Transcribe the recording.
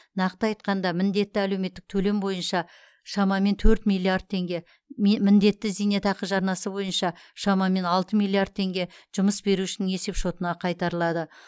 нақты айтқанда міндетті әлеуметтік төлем бойынша шамамен төрт миллиард теңге міндетті зейнетақы жарнасы бойынша шамамен алты миллиард теңге жұмыс берушінің есепшотына қайтарылады